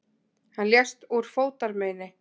Hann lést úr fótarmeini.